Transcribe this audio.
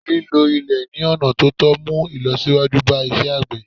lílo ilè ni ọna ọ̀tọ̀tọ̀ mu ìlọsíwájú ba isé àgbè